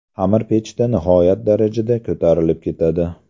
Xamir pechda nihoyat darajada ko‘tarilib ketadi.